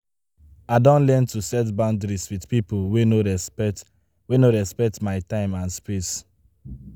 I don learn to set boundaries with people wey no respect wey no respect my time and space.